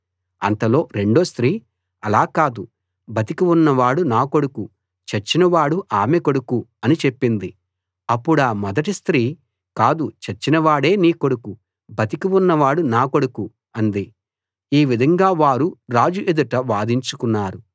అంతలో రెండో స్త్రీ అలా కాదు బతికి ఉన్నవాడు నా కొడుకు చచ్చినవాడు ఆమె కొడుకు అని చెప్పింది అప్పుడా మొదటి స్త్రీ కాదు చచ్చిన వాడే నీ కొడుకు బతికి ఉన్నవాడు నా కొడుకు అంది ఈ విధంగా వారు రాజు ఎదుట వాదించుకున్నారు